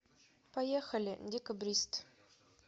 поехали декабрист